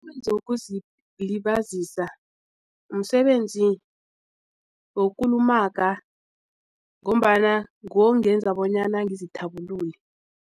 Umsebenzi wokuzilibazisa msebenzi wokukulumaga ngombana nguwo ongenza bonyana ngizithabulule.